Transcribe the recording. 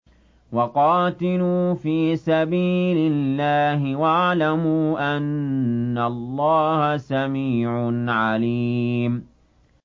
وَقَاتِلُوا فِي سَبِيلِ اللَّهِ وَاعْلَمُوا أَنَّ اللَّهَ سَمِيعٌ عَلِيمٌ